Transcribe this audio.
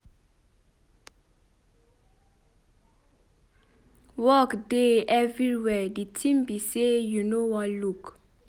Work dey everywhere the thing be say you no wan look.